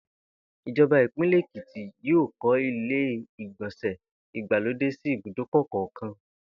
Ìjo̩ba ìpínlè̩ Èkìtì yóò kó̩ ilé ìgbò̩nsè̩ ìgbàlódé sí ibùdókò̩ kò̩ò̩kan